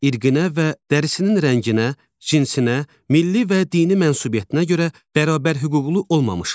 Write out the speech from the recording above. İrqinə və dərisinin rənginə, cinsinə, milli və dini mənsubiyyətinə görə bərabərhüquqlu olmamışlar.